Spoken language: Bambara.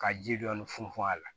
Ka ji dɔɔni funfun a la